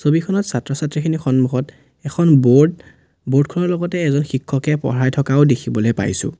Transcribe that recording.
ছবিখনত ছাত্ৰ-ছাত্ৰীখিনিৰ সন্মুখত এখন ব'ৰ্ড ব'ৰ্ড খনৰ লগতে এজন শিক্ষকে পঢ়াই থকোও দেখিবলে পাইছোঁ।